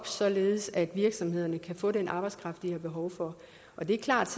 således at virksomhederne kan få den arbejdskraft de har behov for det er klart